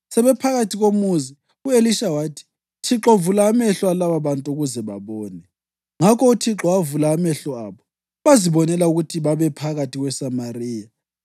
Sebephakathi komuzi, u-Elisha wathi, “ Thixo, vula amehlo alababantu ukuze babone.” Ngakho uThixo wavula amehlo abo, bazibonela ukuthi babephakathi kweSamariya.